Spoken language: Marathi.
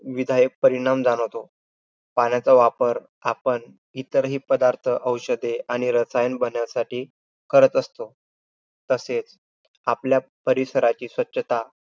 विघातक परिणाम जाणवतो. पाण्याचा वापर आपण इतर हि पदार्थ औषधे रसायने बनव्यासाठी करत असतो. तसेच आपल्या परिसराची स्वच्छता